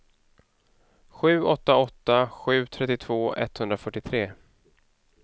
sju åtta åtta sju trettiotvå etthundrafyrtiotre